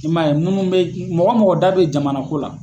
I m' ye munnu bɛ, mɔgɔ mɔgɔ da bɛ jamana ko la.